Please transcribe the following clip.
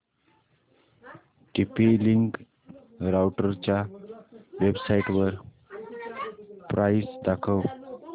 TP link राउटरच्या वेबसाइटवर price दाखव